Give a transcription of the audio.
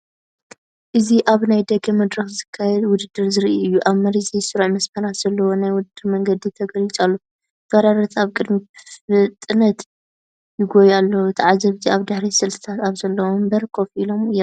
እዚ ኣብ ናይ ደገ መድረኽ ዝካየድ ውድድር ዘርኢ እዩ። ኣብ መሬት ዘይስሩዕ መስመራት ዘለዎ ናይ ውድድር መንገዲ ተገሊጹ ኣሎ፡ ተወዳደርቲ ኣብ ቅድሚት ብፍጥነት ይጎዩ ኣለዉ። ተዓዘብቲ ኣብ ድሕሪት ስልትታት ኣብ ዘለዎም መንበር ኮፍ ኢሎም ይረአ።